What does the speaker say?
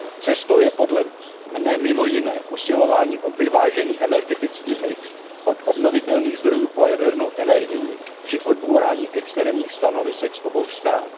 Cestou je podle mne mimo jiné usilování o vyvážený energetický mix od obnovitelných zdrojů po jadernou energii při odbourání extrémních stanovisek z obou stran.